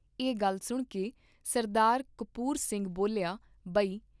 ਇਹ ਗੱਲ ਸੁਣ ਕੇ ਸਰਦਾਰ ਕਪੂਰ ਸਿੰਘ ਬੋਲਿਆ ਬਈ।